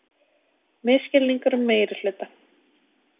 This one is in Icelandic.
Misskilningur um meirihluta